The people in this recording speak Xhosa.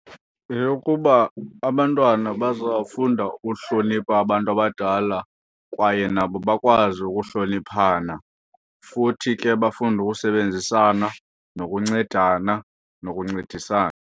Yeyokuba abantwana bazawufunda ukuhlonipha abantu abadala kwaye nabo bakwazi ukuhloniphana futhi ke bafunde ukusebenzisana nokuncedana nokuncedisana.